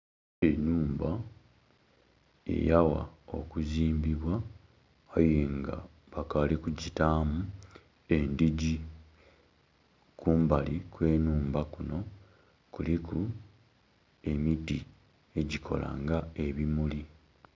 Enhumba eyawa okuzimbbibwa aye nga bakali kujjitamu endijji, kumabali kwe nhumba kuno kuliku emiti eijikola nga ebimuli